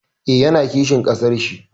Eh, ya na kishin ƙasar shi